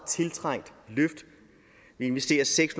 tiltrængt løft vi investerer seks